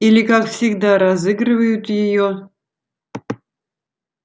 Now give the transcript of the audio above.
или как всегда разыгрывают её